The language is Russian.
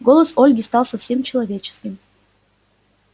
голос ольги стал совсем человеческим